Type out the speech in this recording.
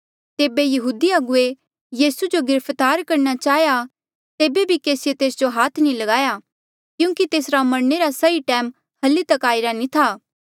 तेबे यहूदी अगुवे यीसू जो गिरफ्तार करणा चाहेया तेबे भी केसीये तेस जो हाथ नी ल्गाया क्यूंकि तेसरा मरणे रा सही टैम हल्ली तक नी आईरा था